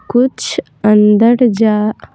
कुछ अंदर जा --